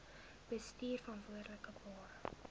bestuurverantwoordbare